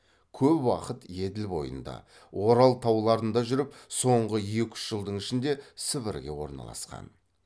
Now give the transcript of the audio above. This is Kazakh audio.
көп уақыт еділ бойында орал тауларында жүріп соңғы екі үш жылдың ішінде сібірге орналасқан